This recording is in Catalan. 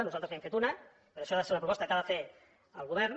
nosaltres li n’hem fet una però això ha de ser una proposta que ha de fer el govern